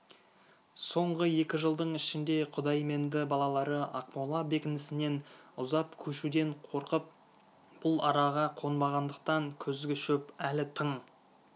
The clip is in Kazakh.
соңғы екі жылдың ішінде құдайменді балалары ақмола бекінісінен ұзап көшуден қорқып бұл араға қонбағандықтан күзгі шөп әлі тың